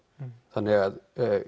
þannig ef